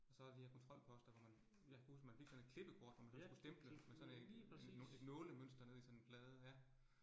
Og så de her kontrolposter, hvor man, jeg kan huske man fik sådan et klippekort, hvor man sådan skulle stemple med sådan et et et nålemønster nede i sådan en plade ja